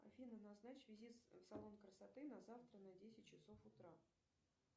афина назначь визит в салон красоты на завтра на десять часов утра